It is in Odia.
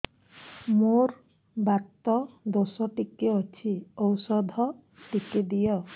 ମୋର୍ ବାତ ଦୋଷ ଟିକେ ଅଛି ଔଷଧ ଟିକେ ଦିଅ